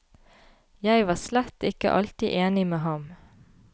Jeg var slett ikke alltid enig med ham.